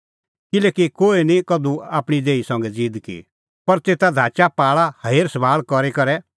किल्हैकि कोही निं कधू आपणीं देही संघै ज़ीद की पर तेता धाचापाल़ा हेरसभाल़ करी करै ज़िहअ मसीहा मंडल़ीए हेरसभाल़ करा